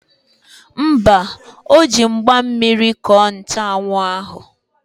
Mba, o ji mgba mmiri kọọ nchanwụ ahụ.